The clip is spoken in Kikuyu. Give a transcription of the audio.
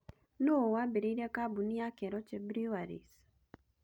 Nũũ waambĩrĩirie kambuni ya Keroche Breweries?